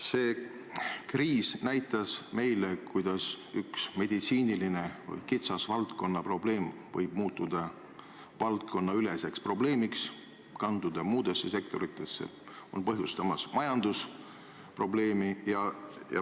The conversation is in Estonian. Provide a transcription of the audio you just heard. See kriis näitas meile, kuidas üks kitsalt meditsiiniline probleem võib muutuda valdkonnaüleseks, kanduda muudesse sektoritesse ja põhjustada majandusprobleemi.